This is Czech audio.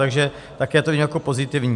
Takže také to vidím jako pozitivní.